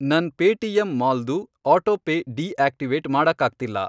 ನನ್ Paytm mall ದು autopay deactivate ಮಾಡಕ್ಕಾಗ್ತಿಲ್ಲ.